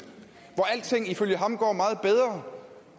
hvor alting ifølge ham går meget bedre